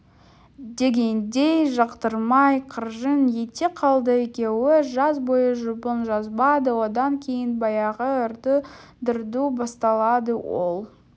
дегендей жақтырмай қыржың ете қалды екеуі жаз бойы жұбын жазбады одан кейін баяғы ырду-дырду басталады ол